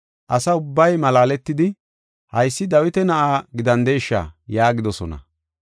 Asa ubbay malaaletidi, “Haysi Dawita Na7aa gidandesha?” yaagidosona.